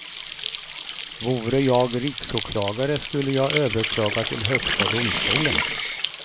Vore jag riksåklagare skulle jag överklaga till högsta domstolen.